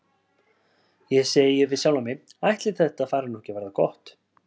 Ég segi við sjálfa mig: Ætli þetta fari nú ekki að verða gott?